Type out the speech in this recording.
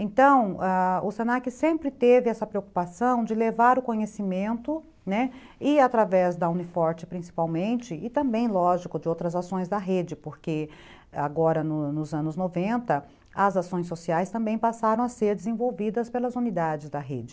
Então ãh se na que sempre teve essa preocupação de levar o conhecimento, né, e através da Uni Forte, principalmente e também lógico de outras ações da rede, porque agora nos nos anos noventa as ações sociais também passaram a ser desenvolvidas pelas unidades da rede.